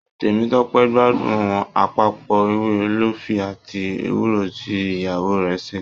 Temitope gbádùn àpapọ ewé ólífì àti ewúro ti ìyàwó rẹ ṣe.